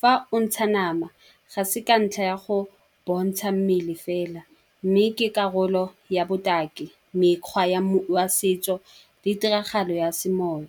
Fa o ntsha nama ga se ka ntlha ya go bontsha mmele fela. Mme ke karolo ya botaki, mekgwa ya ya setso le tiragalo ya semoya.